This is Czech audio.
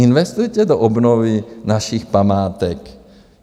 Investice do obnovy našich památek.